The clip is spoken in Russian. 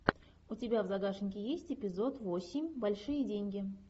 у тебя в загашнике есть эпизод восемь большие деньги